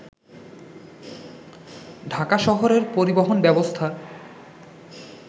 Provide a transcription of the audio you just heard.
ঢাকা শহরের পরিবহন ব্যবস্থার